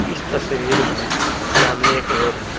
इस तस्वीर में सामने एक रोड है।